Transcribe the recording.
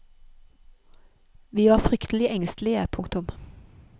Vi var fryktelig engstelige. punktum